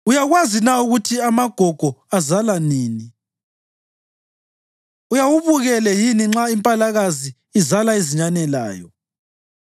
“Uyakwazi na ukuthi amagogo azala nini? Uyawubukele yini nxa impalakazi izala izinyane layo?